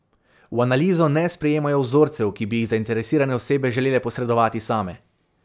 V analizo ne sprejmejo vzorcev, ki bi jih zainteresirane osebe želele posredovati same.